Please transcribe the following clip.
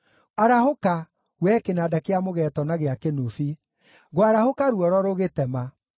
Arahũka, wee kĩnanda kĩa mũgeeto na gĩa kĩnũbi! Ngwarahũka ruoro rũgĩtema.